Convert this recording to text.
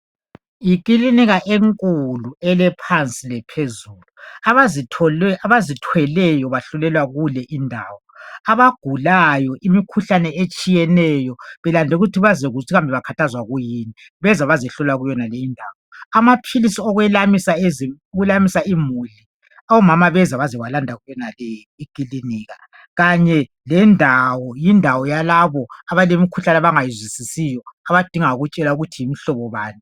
Yiklinika enkulu elephansi lephezulu abazithweleyo bahlolelwa kule indawo abagulayo belemikhuhlane etshiyeneyo belande ukuthi bazokuzwa ukuthi bakhathazwa kuyini beze ukuzohlola kuleyo indawo amaphilizi okwela. isa imuli omama bazo landa yonale iklinika kanye yindawo yalaba abalomkhuhlane abangayizwisisiyo abadinga ukutshelwa ukuthi yimhlobo bani